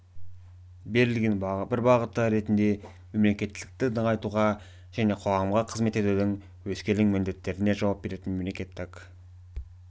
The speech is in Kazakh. берілген бір бағыты ретінде мемлекеттілікті нығайтуға және қоғамға қызмет етудің өскелең міндеттеріне жауап беретін мемлекеттік